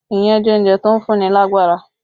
Iyán jẹ́ oúnjẹ tó ń fún ní lágbára